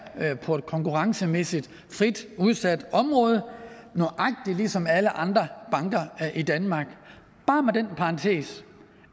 på et konkurrencemæssigt frit udsat område nøjagtig ligesom alle andre banker i danmark bare med den parentes